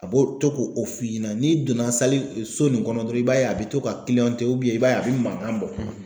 A b'o to k'o f'i ɲɛna ni donna sali so nin kɔnɔ dɔrɔn i b'a ye a be to ka i b'a ye a be mankan bɔ.